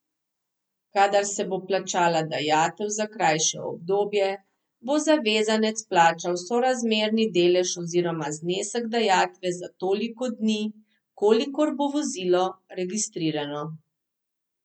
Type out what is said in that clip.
Kadar se bo plačala dajatev za krajše obdobje, bo zavezanec plačal sorazmerni delež oziroma znesek dajatve za toliko dni, kolikor bo vozilo registrirano.